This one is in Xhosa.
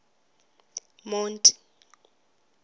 monti